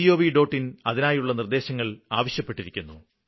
gov അതിനായുള്ള നിര്ദ്ദേശങ്ങള് ആവശ്യപ്പെട്ടിരിക്കുന്നു